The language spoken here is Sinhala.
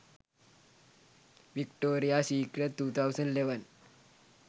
victoria secret 2011